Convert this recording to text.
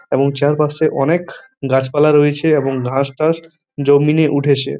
এবং চারপাশে অনেক গাছপালা রয়েছে এবং ঘাসটাস জন্মিয়ে উঠেছে।